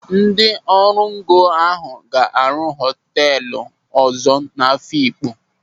Ndị ọrụngo ahụ ga-arụ họtelu ọzọ n'Afịkpo.